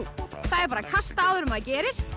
það er bara að kasta áður en maður gerir